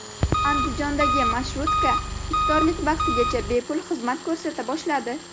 Andijondagi marshrutka iftorlik vaqtigacha bepul xizmat ko‘rsata boshladi.